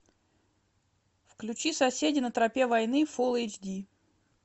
включи соседи на тропе войны фул эйч ди